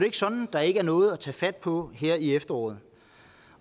ikke sådan at der ikke er noget at tage fat på her i efteråret